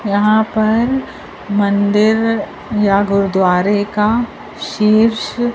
यहां पर मंदिर या गुरुद्वारे का शीर्ष--